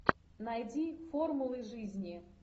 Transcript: найди формулы жизни